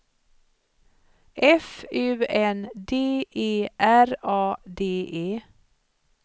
F U N D E R A D E